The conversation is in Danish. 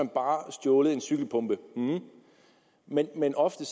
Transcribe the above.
bare har stjålet en cykelpumpe men men ofte